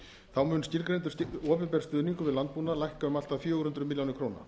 þá mun skilgreindur opinber stuðningur við landbúnað lækka um allt að fjögur hundruð milljóna króna